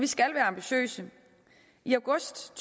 skal være ambitiøse i august